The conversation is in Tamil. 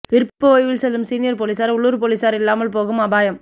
விருப்ப ஓய்வில் செல்லும் சீனியர் போலீசார் உள்ளூர் போலீசார் இல்லாமல் போகும் அபாயம்